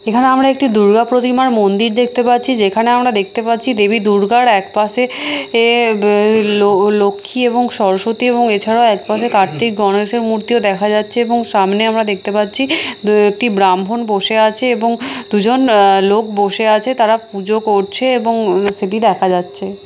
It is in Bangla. এখানে আমরা একটি দুর্গা প্রতিমার মন্দির দেখতে পাচ্ছি যেখানে আমরা দেখতে পাচ্ছি দেবী দুর্গার একপাশে অ্যা বে লো লো লক্ষী এবং সরস্বতী এবং এছাড়াও একপাশে কার্তিক গণেশের মূর্তিও দেখা যাচ্ছে এবং সামনে আমরা দেখতে পাচ্ছি দো একটি ব্রাহ্মণ বসে আছে এবং দুজন আ লোক বসে আছে তারা পুজো করছে এবং উ সেটি দেখা যাচ্ছে।